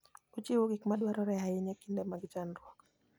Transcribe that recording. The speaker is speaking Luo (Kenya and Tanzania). Ochiwo gik madwarore ahinya e kinde mag chandruok.